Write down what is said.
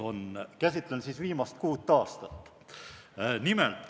Käsitlen viimast kuut aastat.